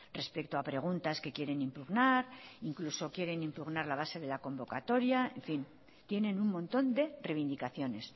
respecto a preguntas que quieren impugnar incluso quieren impugnar la base de la convocatoria en fin tienen un montón de reivindicaciones